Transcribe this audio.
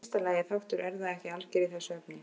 Í fyrsta lagi er þáttur erfða ekki alger í þessu efni.